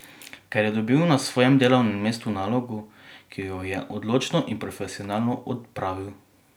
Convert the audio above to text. Ker je dobil na svojem delovnem mestu nalogo, ki jo je odločno in profesionalno opravil.